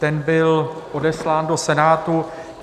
Ten byl odeslán do Senátu.